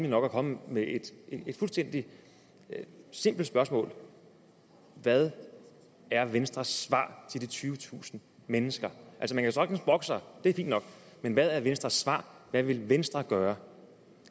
nok at komme med et fuldstændig simpelt spørgsmål hvad er venstres svar til de tyvetusind mennesker man kan sagtens brokke sig det er fint nok men hvad er venstres svar hvad vil venstre gøre